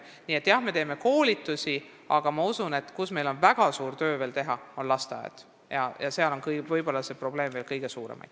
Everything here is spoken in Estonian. Nii et, jah, me teeme küll koolitusi, aga ma usun, et meil on väga suur töö teha lasteaedades, kus probleemid on ehk veel kõige suuremad.